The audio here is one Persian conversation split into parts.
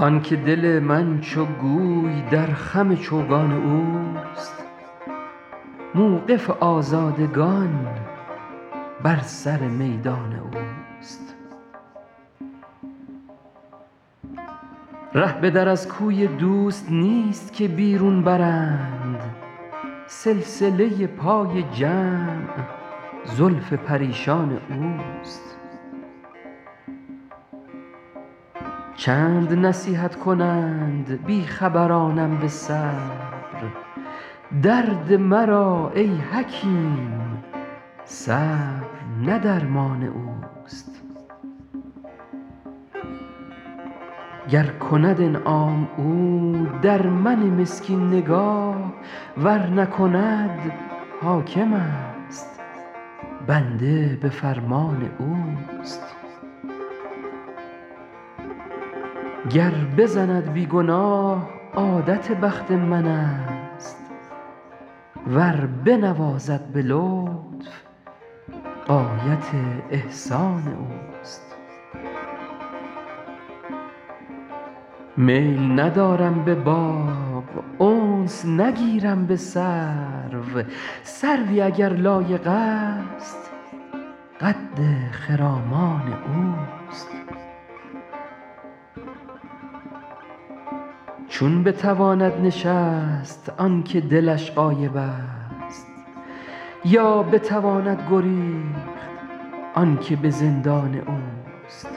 آن که دل من چو گوی در خم چوگان اوست موقف آزادگان بر سر میدان اوست ره به در از کوی دوست نیست که بیرون برند سلسله پای جمع زلف پریشان اوست چند نصیحت کنند بی خبرانم به صبر درد مرا ای حکیم صبر نه درمان اوست گر کند انعام او در من مسکین نگاه ور نکند حاکمست بنده به فرمان اوست گر بزند بی گناه عادت بخت منست ور بنوازد به لطف غایت احسان اوست میل ندارم به باغ انس نگیرم به سرو سروی اگر لایقست قد خرامان اوست چون بتواند نشست آن که دلش غایبست یا بتواند گریخت آن که به زندان اوست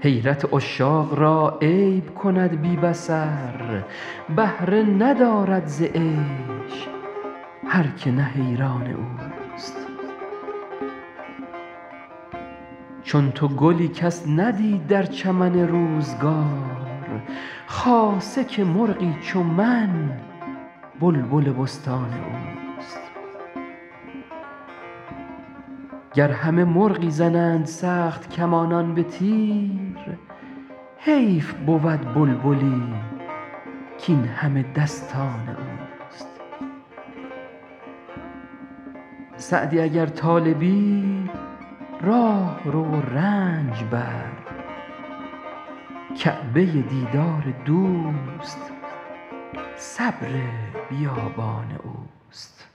حیرت عشاق را عیب کند بی بصر بهره ندارد ز عیش هر که نه حیران اوست چون تو گلی کس ندید در چمن روزگار خاصه که مرغی چو من بلبل بستان اوست گر همه مرغی زنند سخت کمانان به تیر حیف بود بلبلی کاین همه دستان اوست سعدی اگر طالبی راه رو و رنج بر کعبه دیدار دوست صبر بیابان اوست